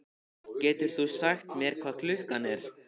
Getur þú sagt mér hvað klukkan er?